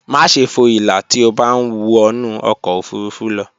Máṣe fo ìlà tí o bá ń wọnú ọkọ̀ ofurufú lọ